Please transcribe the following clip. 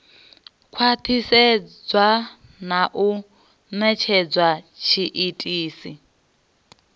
khwathisedzwa na u netshedza tshiitisi